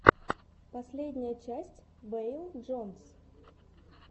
последняя часть вэйл джонс